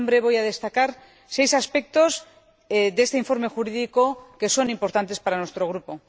En su nombre, voy a destacar seis aspectos de este informe jurídico que son importantes para nuestro Grupo.